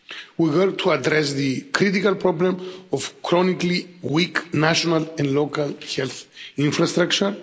We help to address the critical problem of chronically weak national and local health infrastructure.